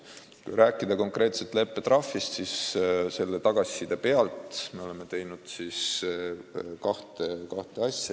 Kui rääkida konkreetselt leppetrahvist, siis tagasiside põhjal oleme teinud kaks asja.